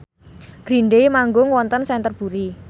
Green Day manggung wonten Canterbury